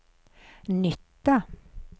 nytta